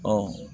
Ɔ